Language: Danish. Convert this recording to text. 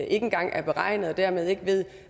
engang er beregnet og dermed ikke ved